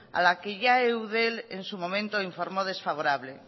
a la que ya eudel en su momento informó desfavorable